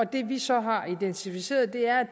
det vi så har identificeret er